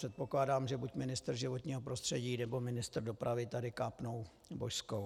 Předpokládám, že buď ministr životního prostředí, nebo ministr dopravy tady kápnou božskou.